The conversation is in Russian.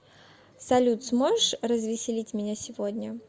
салют сможешь развеселить меня сегодня